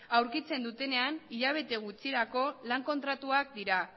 aurkitzen dutenean hilabete gutxirako lan kontratuak dira